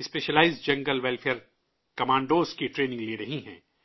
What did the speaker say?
specialised jungle warfare commandos کی training لے رہی ہیں